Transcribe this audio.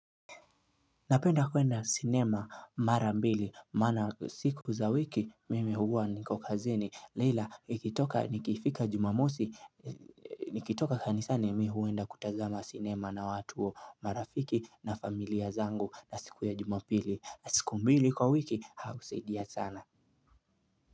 Napenda kuenda sinema marambili maana siku za wiki mimi huwa niko kazini leila nikitoka nikifika jumamosi nikitoka kanisani mi huenda kutazama sinema na watu marafiki na familia zangu na siku ya jumapili na siku mbili kwa wiki au saidia sana.